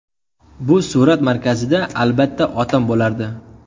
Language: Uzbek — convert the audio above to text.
Bu surat markazida, albatta, otam bo‘lardi.